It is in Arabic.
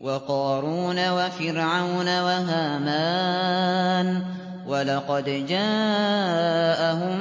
وَقَارُونَ وَفِرْعَوْنَ وَهَامَانَ ۖ وَلَقَدْ جَاءَهُم